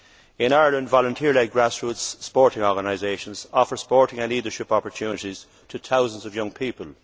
In Ireland, volunteering in grassroots sports organisations offers sporting and leadership opportunities to thousands of young people.